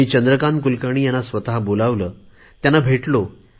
मी चंद्रकांत कुलकर्णी यांना स्वत बोलविले त्यांना भेटलो